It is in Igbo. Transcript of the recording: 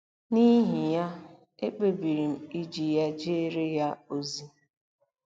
N’ihi ya, ekpebiri m iji ya jeere ya ozi. ”